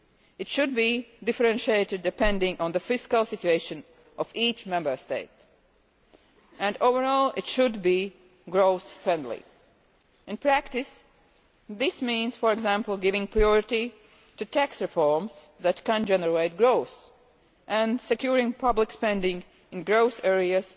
It should be differentiated, depending on the fiscal situation of each Member State, and overall it should be growth friendly. In practice this means, for example, giving priority to tax reforms that can generate growth and securing public spending in growth